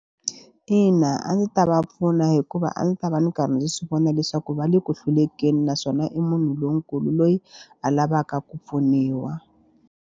Ina, a ndzi ta va pfuna hikuva a ndzi ta va ndzi karhi ndzi swi vona leswaku va le ku hlulekeni naswona i munhu lonkulu loyi a lavaka ku pfuniwa.